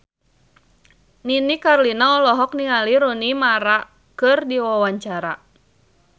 Nini Carlina olohok ningali Rooney Mara keur diwawancara